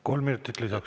Kolm minutit lisaks.